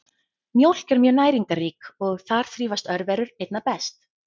Mjólk er mjög næringarrík og þar þrífast örverur einna best.